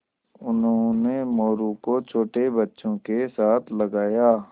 उन्होंने मोरू को छोटे बच्चों के साथ लगाया